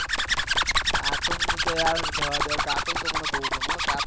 cartoon રેહવા દે cartoon તો યાર મને બહુ ગમે